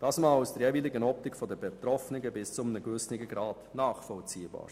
Das ist aus der jeweiligen Optik der Betroffenen bis zu einem gewissen Grad nachvollziehbar.